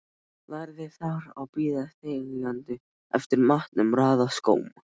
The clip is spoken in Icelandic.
Lærði þar að bíða þegjandi eftir matnum, raða skóm.